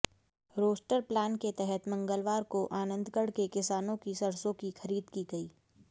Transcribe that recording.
roster plan के तहत मंगलवार को आनंदगढ़ के किसानों की सरसों की खरीद की गई